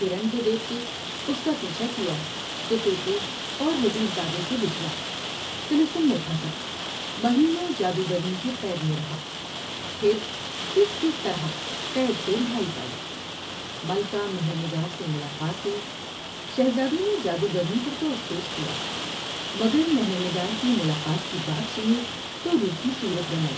ہرن کو دیکھ کے اس کا پیچھا کیا تو تو تے اور وزیر زادے سے بچھڑا طلسم میں پھنسا مہینوں جادوگرنی کی قید میں رہا ، پھر کس کس طرح قید سے رہائی پائی ، ملکہ مہر نگار سے ملاقات ہوئی ۔شہزادی نے جادوگرنی پر تو افسوس کیا مگر مہر نگار کی ملاقات کی بات سنی تو روکھی صورت بنائی ،